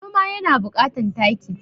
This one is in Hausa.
Noma yana bukatan taki